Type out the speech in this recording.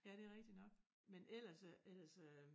Ja det rigtig nok men ellers øh ellers øh